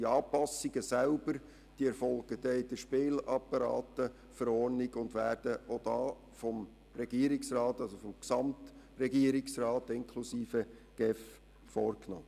Die Anpassungen selber erfolgen in der Spielapparateverordnung vom 20. Dezember 1995 (SpV) und werden vom Gesamtregierungsrat vorgenommen.